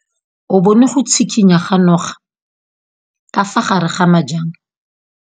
O bone go tshikinya ga noga ka fa gare ga majang.